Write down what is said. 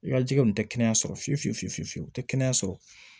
I ka jikɛ kun tɛ kɛnɛya sɔrɔ fiyewu fiyewu fiyewu fiyewu tɛ kɛnɛya sɔrɔ